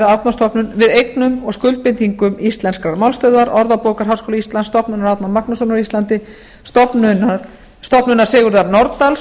árnastofnun við eignum og skuldbindingum íslenskrar málstöðvar orðabókar háskóla íslands stofnunar árna magnússonar á íslandi stofnunar sigurðar nordals